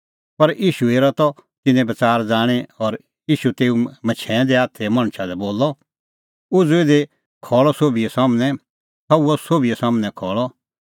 पर ईशू हेरा त तिन्नें बच़ार ज़ाणीं और ईशू तेऊ मछैंऐं दै हाथे मणछा लै बोलअ उझ़ू इधी खल़्हू सोभी सम्हनै सह हुअ सोभी सम्हनै खल़अ